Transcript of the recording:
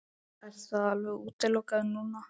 Er það alveg útilokað núna?